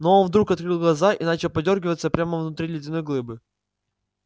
но он вдруг открыл глаза и начал подёргиваться прямо внутри ледяной глыбы